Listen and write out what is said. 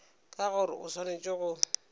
ke gore o swanetše go